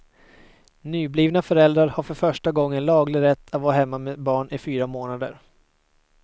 Nyblivna föräldrar har för första gången laglig rätt att vara hemma med barn i fyra månader.